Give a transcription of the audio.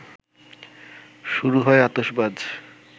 শুরু হয় আতশবাজ